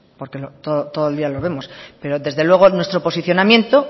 porque todo el día lo vemos pero desde luego nuestro posicionamiento